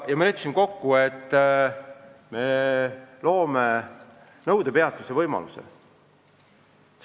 Ja me leppisime kokku, et me loome nõudepeatuse võimaluse.